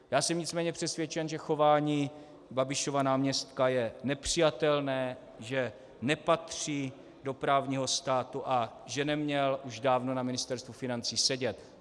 Já jsem nicméně přesvědčen, že chování Babišova náměstka je nepřijatelné, že nepatří do právního státu a že neměl už dávno na Ministerstvu financí sedět.